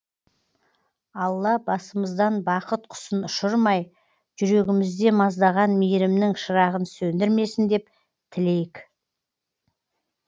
алла басымыздан бақыт құсын ұшырмай жүрегімізде маздаған мейірімнің шырағын сөндірмесін деп тілейік